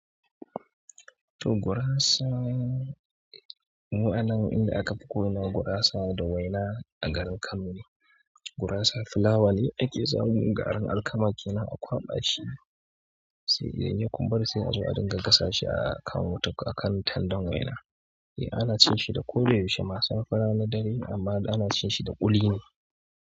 To guras, mu anan inda akafi ko ina gurasa da waina a garin Kano ne gurasa fulawa ne ake samun garin alkama kenan a kwaɓa shi, sai dai ya kumbura sai a je a dinga gasa shi a kan tandan waina. Eh, ana cin shi da ko da yaushe ma, safe, rana, dare amma ana cin shi da ƙuli ne.